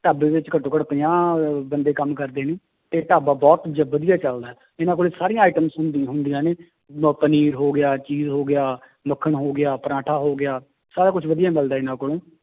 ਢਾਬੇ ਵਿੱਚ ਘੱਟੋ ਘੱਟ ਪੰਜਾਹ ਬੰਦੇ ਕੰਮ ਕਰਦੇ ਨੇ, ਤੇ ਢਾਬਾ ਬਹੁਤ ਜੀ ਵਧੀਆ ਚੱਲਦਾ ਹੈ ਇਹਨਾਂ ਕੋਲੇ ਸਾਰੀਆਂ items ਹੁੰਦੀ ਹੁੰਦੀਆਂ ਨੇ ਆਹ ਪਨੀਰ ਹੋ ਗਿਆ ਹੋ ਗਿਆ ਮੱਖਣ ਹੋ ਗਿਆ ਪਰਾਠਾ ਹੋ ਗਿਆ, ਸਾਰਾ ਕੁਛ ਵਧੀਆ ਮਿਲਦਾ ਹੈ ਇਹਨਾਂ ਕੋਲੋਂ।